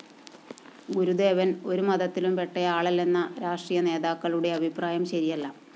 ഗുരുദേവന്‍ ഒരുമതത്തിലുംപ്പെട്ടയാളല്ലെന്ന രാഷ്ട്രീയനേതാക്കളുടെ അഭിപ്രായം ശരിയല്ല